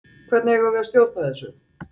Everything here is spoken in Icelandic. Hvernig eigum við að stjórna þessu?